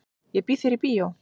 Ég býð þér í bíó.